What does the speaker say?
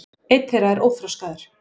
einn þeirra er óþroskaður